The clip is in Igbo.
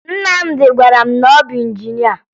Nnamdị gwara m na ọ bụ injinịa